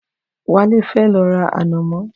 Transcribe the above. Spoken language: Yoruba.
Wálé fẹ́ lọ ra ànàmọ́.